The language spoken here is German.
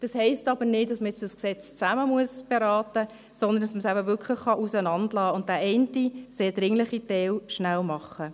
Das heisst aber nicht, dass man dieses Gesetz zusammen beraten muss, sondern dass man es wirklich auseinandergenommen belassen kann und den einen sehr dringlichen Teil sehr schnell macht.